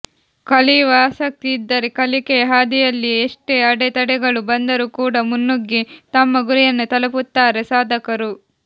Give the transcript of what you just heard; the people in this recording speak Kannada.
ಕಲಿಯುವ ಆಸಕ್ತಿ ಇದ್ದರೆ ಕಲಿಕೆಯ ಹಾದಿಯಲ್ಲಿ ಎಷ್ಟೇ ಅಡೆ ತಡೆಗಳು ಬಂದರೂ ಕೂಡಾ ಮುನ್ನುಗ್ಗಿ ತಮ್ಮ ಗುರಿಯನ್ನು ತಲುಪುತ್ತಾರೆ ಸಾಧಕರು